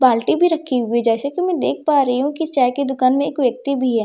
बाल्टी भी रखी हुई है जैसे कि मैं देख पा रही हूं कि चाय की दुकान में एक व्यक्ति भी है जैसे कि मैं देख --